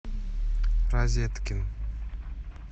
розетки